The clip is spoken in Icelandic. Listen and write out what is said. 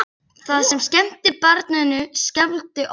Það sem skemmti barninu skelfdi okkur.